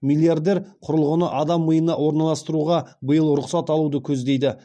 миллиардер құрылғыны адам миына орналастыруға биыл рұқсат алуды көздейді